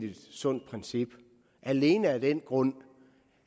sundt princip alene af den grund